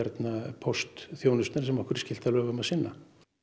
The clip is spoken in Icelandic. póstþjónustu sem okkur er skylt að lögum að sinna